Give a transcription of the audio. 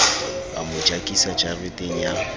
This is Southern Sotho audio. a mo jakisa jareteng ya